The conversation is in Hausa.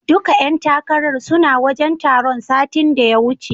Duka ƴan takarar suna wajen taron satin da ya wuce.